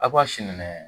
A b'a sini minɛ